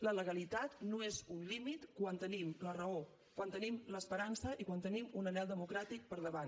la legalitat no és un límit quan tenim la raó quan tenim l’esperança i quan tenim un anhel democràtic per davant